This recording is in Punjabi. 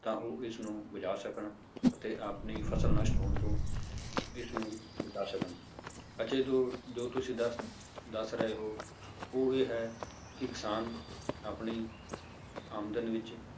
ਤਾਂ ਉਹ ਇਸਨੂੰ ਬਚਾਅ ਸਕਣ ਅਤੇ ਆਪਣੀ ਫਸਲ ਨਸ਼ਟ ਹੋਣ ਤੋਂ ਇਸ ਨੂੰ ਬਚਾਅ ਸਕਣ ਅਤੇ ਜੋ ਜੋ ਤੁਸੀਂ ਦੱਸ ਦੱਸ ਰਹੇ ਹੋ ਉਹ ਇਹ ਹੈ ਕਿ ਕਿਸਾਨ ਆਪਣੀ ਆਮਦਨ ਵਿੱਚ